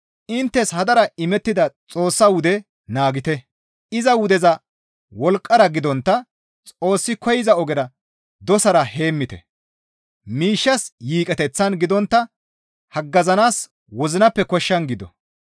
Inttes hadara imettida Xoossaa wude naagite; iza wudeza wolqqara gidontta Xoossi koyza ogera dosan heemmite; miishshas yiiqeteththan gidontta haggazanaas wozinappe koshshan gido.